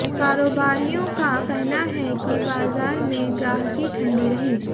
कारोबारियों का कहना है कि बाजार में ग्राहकी ठंडी रही